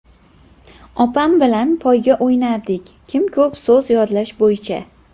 Opam bilan poyga o‘ynardik kim ko‘p so‘z yodlash bo‘yicha.